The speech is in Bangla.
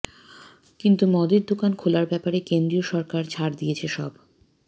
কিন্তু মদের দোকান খোলার ব্যাপারে কেন্দ্রীয় সরকার ছাড় দিয়েছে সব